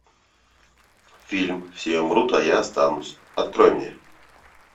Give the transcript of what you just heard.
фильм все умрут а я останусь открой мне